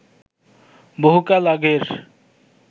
বহু কাল আগের